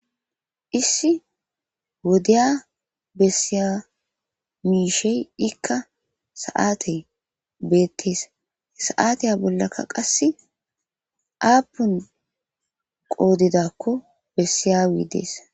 Issi wodiya bessiya miishshey ikka sa'atey beetees sa'atiya bollaka qassi aapun qoodakko bessiyabi dees.